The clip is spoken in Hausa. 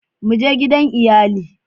Mu je gidan iyali